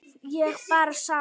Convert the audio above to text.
Ég bara sá.